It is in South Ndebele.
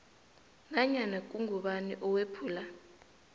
nanyana ngubani owephula